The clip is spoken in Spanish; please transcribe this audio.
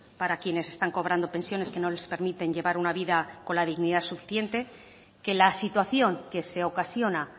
para quienes están cobrando pensiones que no les permiten llevar una vida con la dignidad suficiente que la situación que se ocasiona